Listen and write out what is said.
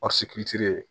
ye